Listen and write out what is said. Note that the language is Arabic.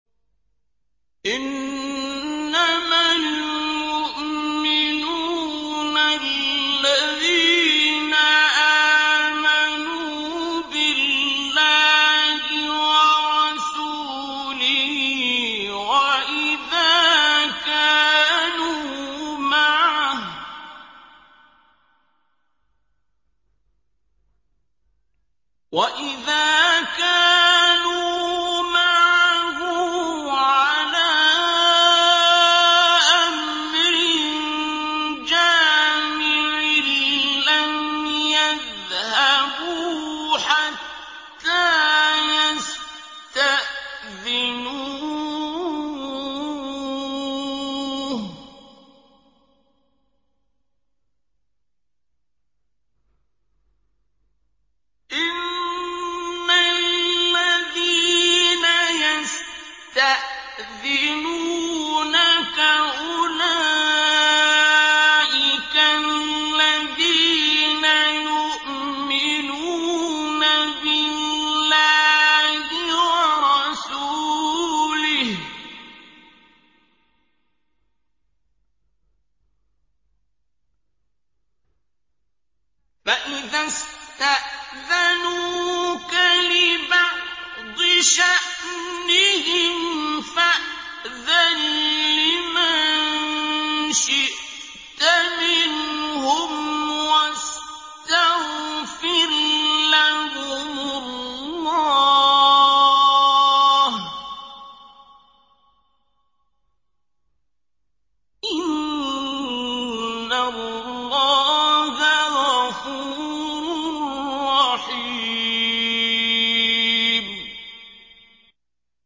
إِنَّمَا الْمُؤْمِنُونَ الَّذِينَ آمَنُوا بِاللَّهِ وَرَسُولِهِ وَإِذَا كَانُوا مَعَهُ عَلَىٰ أَمْرٍ جَامِعٍ لَّمْ يَذْهَبُوا حَتَّىٰ يَسْتَأْذِنُوهُ ۚ إِنَّ الَّذِينَ يَسْتَأْذِنُونَكَ أُولَٰئِكَ الَّذِينَ يُؤْمِنُونَ بِاللَّهِ وَرَسُولِهِ ۚ فَإِذَا اسْتَأْذَنُوكَ لِبَعْضِ شَأْنِهِمْ فَأْذَن لِّمَن شِئْتَ مِنْهُمْ وَاسْتَغْفِرْ لَهُمُ اللَّهَ ۚ إِنَّ اللَّهَ غَفُورٌ رَّحِيمٌ